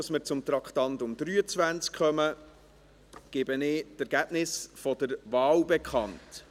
Bevor wir zum Traktandum 23 kommen, gebe ich die Ergebnisse der Wahlen bekannt.